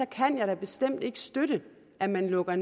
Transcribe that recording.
kan jeg da bestemt ikke støtte at man lukker